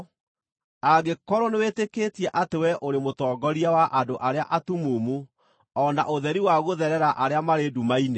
angĩkorwo nĩwĩtĩkĩtie atĩ wee ũrĩ mũtongoria wa andũ arĩa atumumu, o na ũtheri wa gũtherera arĩa marĩ nduma-inĩ,